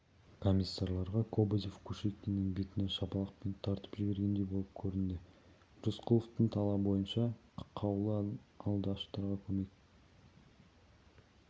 комиссарларға кобозев кушекиннің бетінен шапалақпен тартып жібергендей болып көрінді рысқұловтың талабы бойынша қаулы алды аштарға көмек